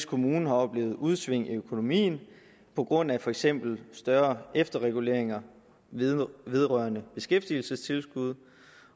kommune har oplevet udsving i økonomien på grund af for eksempel større efterreguleringer vedrørende beskæftigelsestilskud